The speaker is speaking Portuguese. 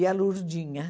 E a Lurdinha.